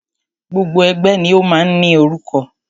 Gbogbo ẹgbẹ́ ni o máa ń ní orúkọ.